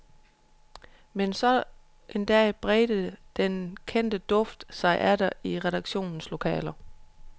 Men så en dag bredte den kendte duft sig atter i redaktionens lokaler.